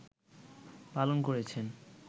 পালন করেছেন